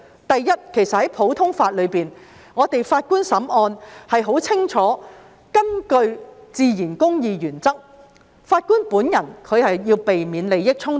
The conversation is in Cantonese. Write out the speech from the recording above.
第一，在普通法中，法官審案須根據自然公義原則，這是十分清楚的，法官本人要避免利益衝突。